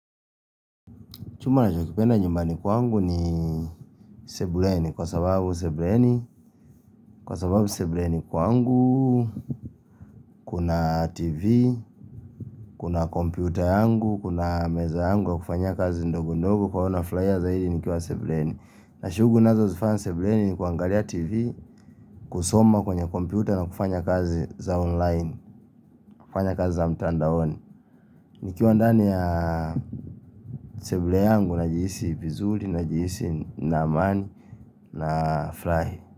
Chumba nachokipenda nyumbani kwangu ni sebuleni kwa sababu sebuleni kwa sababu sebuleni kwangu, kuna tv, kuna kompyuta yangu, kuna meza yangu ya kufanyia kazi ndogo ndogo kwa hivyo nafurahia zaidi nikiwa sebuleni. Na shughuli ninazozifanya sebuleni ni kuangalia tv, kusoma kwenye kompyuta na kufanya kazi za online, kufanya kazi za mtandaoni. Nikiwa ndani ya sebule yangu najihisi vizuri, najihisi na amani nafurahi.